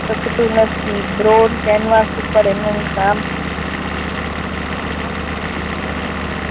ટકતું નથી brown canvas ઉપર એમનું કામ